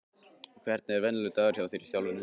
Hvernig er venjulegur dagur hjá þér í þjálfuninni?